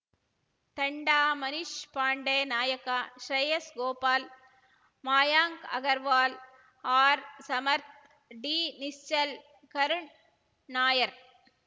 ತಂಡ ಮನೀಶ್‌ ಪಾಂಡೆ ನಾಯಕ ಶ್ರೇಯಸ್‌ ಗೋಪಾಲ್‌ ಮಯಾಂಕ್‌ ಅಗರ್‌ವಾಲ್‌ ಆರ್‌ಸಮರ್ಥ್ ಡಿನಿಶ್ಚಲ್‌ ಕರುಣ್‌ ನಾಯರ್